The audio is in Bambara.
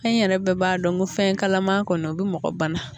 An yɛrɛ bɛɛ b'a dɔn ko fɛn kalaman kɔni o bɛ mɔgɔ bana